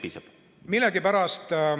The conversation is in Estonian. Palun!